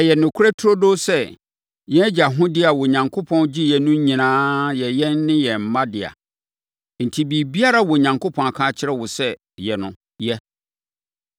Ɛyɛ nokorɛ turodoo sɛ, yɛn agya ahodeɛ a Onyankopɔn gyeeɛ no nyinaa yɛ yɛn ne yɛn mma dea. Enti, biribiara a Onyankopɔn aka akyerɛ wo sɛ yɛ no, yɛ.”